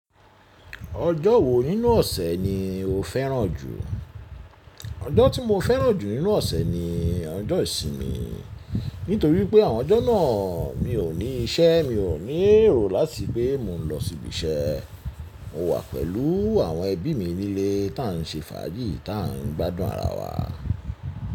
Ojo wo ninu ose ni o feran ju? Ojo ti mo feran ju ninu ose ni ojo isinmi, nitori wipe awon ojo naa mi o ni ise mi o ni ero lati pe mo n lo sibi ise. Mo wa pelu awon ebi mi nile ta n se faji ta n gbadun ara wa.